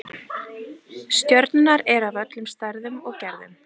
Stjörnurnar eru af öllum stærðum og gerðum.